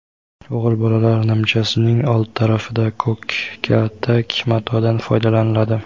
O‘g‘il bolalar nimchasining old tarafida ko‘k katak matodan foydalaniladi.